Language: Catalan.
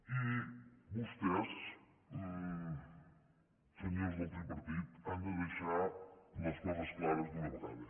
i vostès senyors del tripartit han de deixar les coses clares d’una vegada